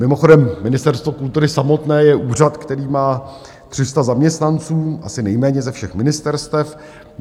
Mimochodem Ministerstvo kultury samotné je úřad, který má 300 zaměstnanců, asi nejméně ze všech ministerstev.